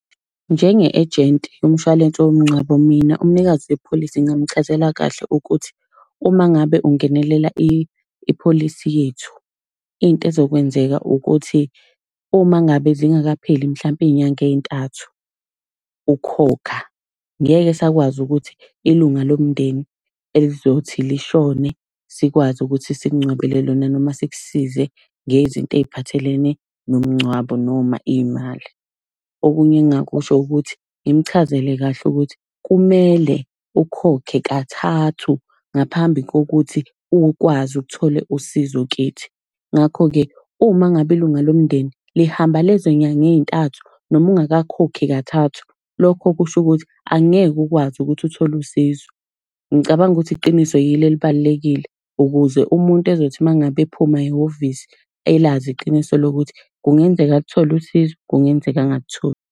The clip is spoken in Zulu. Njenge-ejenti yomshwalense womngcwabo, mina umnikazi wepholisi ngingamchazela kahle ukuthi uma ngabe ungenelela ipholisi yethu, into ezokwenzeka ukuthi, uma ngabe zingakapheli mhlampe iy'nyanga ey'ntathu ukhokha, ngeke esakwazi ukuthi ilunga lomndeni elizothi lishone sikwazi ukuthi sikungcwabele lona noma sikusize ngezinto ey'phathelene nomngcwabo noma iy'mali. Okunye engingakusho ukuthi ngimchazele kahle ukuthi kumele ukhokhe kathathu ngaphambi kokuthi ukwazi ukuthole usizo kithi. Ngakho-ke, uma ngabe ilunga lomndeni lihamba lezo nyanga ey'ntathu noma ungakakhokhi kathathu, lokho kusho ukuthi angeke ukwazi ukuthi uthole usizo. Ngicabanga ukuthi iqiniso yilo elibalulekile ukuze umuntu ezothi uma ngabe ephuma ehhovisi elazi iqiniso lokuthi kungenzeka aluthole usizo, kungenzeka angalitholi.